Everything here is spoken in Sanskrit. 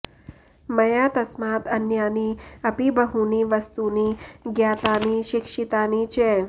मया तस्मात् अन्यानि अपि बहूनि वस्तूनि ज्ञातानि शिक्षितानि च